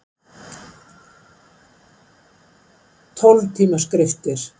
Tólf tíma skriftir.